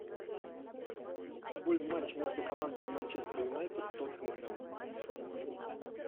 футбольный матч между командами манчестер юнайтед тоттенхэм